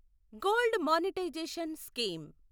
gold monetization scheme